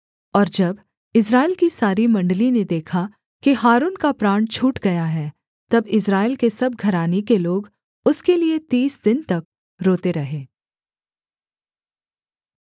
और जब इस्राएल की सारी मण्डली ने देखा कि हारून का प्राण छूट गया है तब इस्राएल के सब घराने के लोग उसके लिये तीस दिन तक रोते रहे